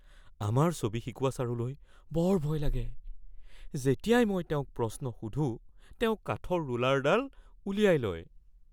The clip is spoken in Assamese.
আমাৰ ছবি শিকোৱা ছাৰলৈ বৰ ভয় লাগে। যেতিয়াই মই তেওঁক প্ৰশ্ন সোধোঁ, তেওঁ কাঠৰ ৰুলাৰডাল উলিয়াই লয়।